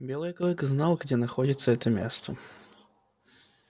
белый клык знал где находится это место